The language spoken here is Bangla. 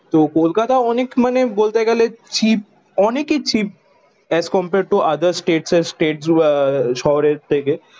তো কলকাতা অনেক মানে বলতে গেলে চিপ অনেকই cheap as compare to other state and state আহ শহরের থেকে।